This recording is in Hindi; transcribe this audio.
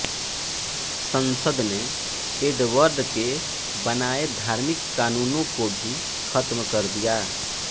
संसद ने एडवर्ड के बनाये धार्मिक कानूनों को भी खत्म कर दिया